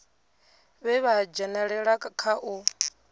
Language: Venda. vhe vha dzhenelela kha u